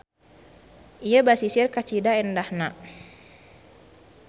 Ieu basisir kacida endahna.